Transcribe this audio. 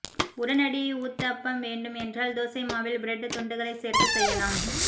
உடனடி ஊத்தப்பம் வேண்டும் என்றால் தோசை மாவில் பிரெட் துண்டுகளைச் சேர்த்துச் செய்யலாம்